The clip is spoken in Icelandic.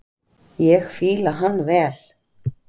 Ég fíla hann vel.